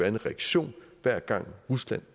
en reaktion hver gang rusland